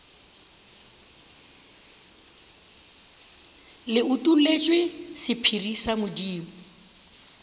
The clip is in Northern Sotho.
le utolletšwe sephiri sa modimo